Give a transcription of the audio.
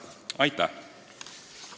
Aitäh!